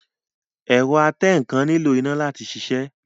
Ẹ̀rọ atẹǹkan nílò iná láti sisẹ́